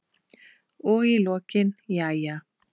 Og í lokin: Jæja.